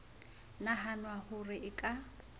nahanwa ho re e ka